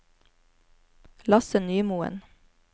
Lasse Nymoen